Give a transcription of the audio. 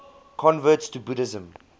converts to buddhism